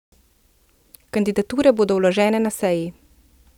Kandidature bodo vložene na seji.